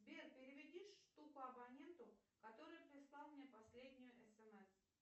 сбер переведи штуку абоненту который прислал мне последнее смс